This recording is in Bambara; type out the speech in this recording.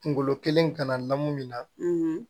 Kunkolo kelen kana lamu min na